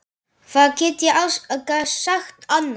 Hvað get ég sagt annað?